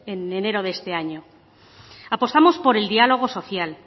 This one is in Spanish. en enero de este año apostamos por el diálogo social